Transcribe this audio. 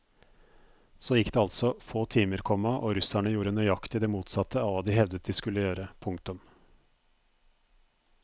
Så gikk det altså få timer, komma og russerne gjorde nøyaktig det motsatte av hva de hevdet de skulle gjøre. punktum